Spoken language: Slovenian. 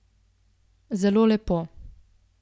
Zelo lepo.